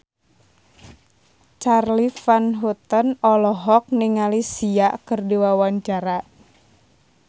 Charly Van Houten olohok ningali Sia keur diwawancara